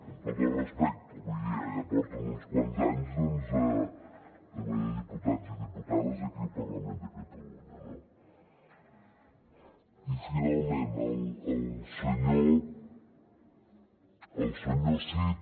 amb tot el respecte vull dir eh ja porten uns quants anys doncs també de diputats i diputades aquí al parlament de catalunya no i finalment el senyor cid